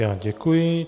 Já děkuji.